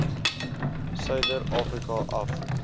suider afrika af